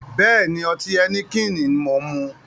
Bẹ́ẹ̀ni, ọtí Heineken ni mo ń mu